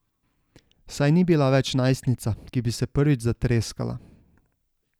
Saj ni bila več najstnica, ki bi se prvič zatreskala.